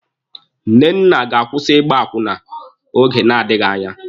Nnenna ga-akwụsị ịgba akwụna oge na-adịghị anya.